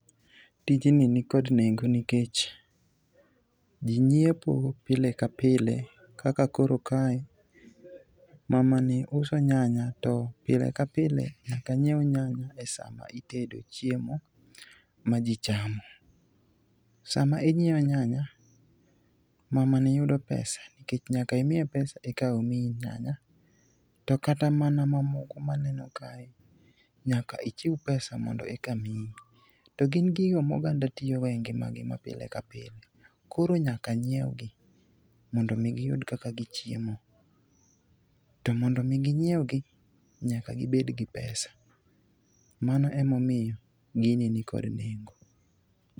Tijni nikod nengo nikech ji nyiepo pile ka pile kaka koro kae mamani uso nyanya to pile ka pile nyaka nyiew nyanya e sa ma itedo chiemo ma ji chamo. Sama inyiewo nyanya, mamani yudo pesa nikech nyaka imiye pesa eka omiyi nyanya to kata mana mamoko maneno kae nyaka ichiw pesa mondo eka miyi. To gin gigo moganda tiyogo e ngimagi mapile ka pile, koro nyaka n yiegi mondo omi giyud kaka gichiemo. To mondo omi ginyiewgi nyaka gibed kod pesa. Mano emomiyo gini nikod nengo.